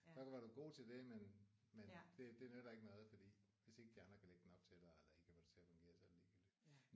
Så kan det godt være du er god til det men men det det nytter ikke noget fordi hvis ikke de andre kan lægge den op til dig eller ikke kan få det til at fungere så er det ligegyldigt